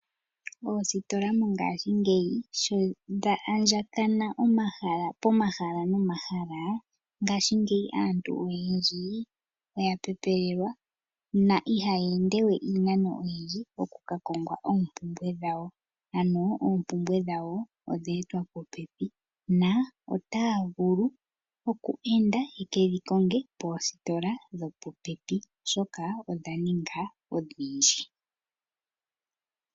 Oositola mongashingeyi shodha andjakana pomahala nomahala ngashiingeyi aantu oyendji oya pepelelwa na ihaya ende we iinano oyindji oku ka konga oompumbwe dhawo. Ano oompumbwe dhawo odha etwa popepi na otaya vulu oku enda ye kedhi konge poositola dho popepi oshoka odha ninga odhindji